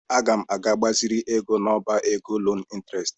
Aga m aga gbaziri ego n'ọbá ego loo ịntrest.